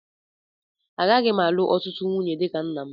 Agaghị m alụ ọtụtụ nwunye dị ka nna m.